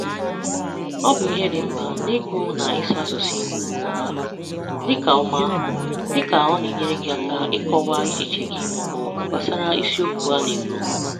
Ọ bụ ihe dị mkpa n’ịgụ na ịsụ asụsụ Igbo nke ọma, dịka ọma, dịka ọ na-enyere gị aka ịkọwa echiche gị ma ọ bụ gbasara isiokwu a na-ekwu.